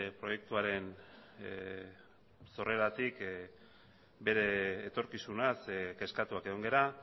proiektuaren sorreratik bere etorkizunaz kezkatuak egon gara